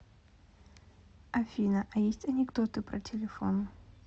афина а есть анекдоты про телефон